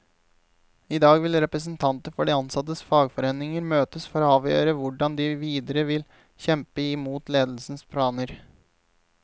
I dag vil representanter for de ansattes fagforeninger møtes for å avgjøre hvordan de videre vil kjempe i mot ledelsens planer.